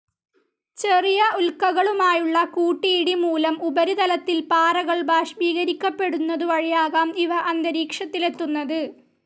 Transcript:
ചെറിയ ഉൽക്കകളുമായുള്ള കൂട്ടിയിടി മൂലം ഉപരിതലത്തിലെ പാറകൾ ബാഷ്പീകരിക്കപെടുന്നതുവഴിയാകാം ഇവ അന്തരീക്ഷത്തിലെത്തുന്നത്.